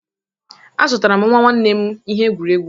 Azụtara m nwa nwanne m ihe egwuregwu.